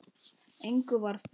Engu varð breytt.